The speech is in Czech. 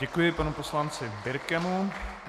Děkuji panu poslanci Birkemu.